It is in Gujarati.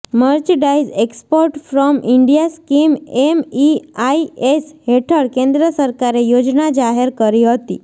merchandise export from India scheme MEIS હેઠળ કેન્દ્ર સરકારે યોજના જાહેર કરી હતી